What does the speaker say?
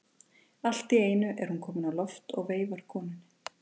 Allt í einu er hún komin á loft og veifar konunni.